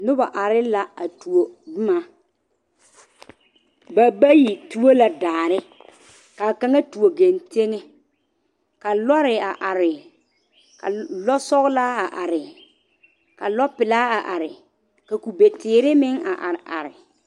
Noba are la a tuo boma ba bayi tuo la daare ka kaŋa tuo genteŋe ka lɔre a are ka lɔsɔglaa a are ka lɔpelaa a are ka kubeteere meŋ a are are.